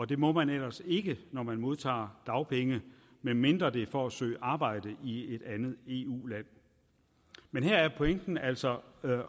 det må man ellers ikke når man modtager dagpenge medmindre det er for at søge arbejde i et andet eu land men her er pointen altså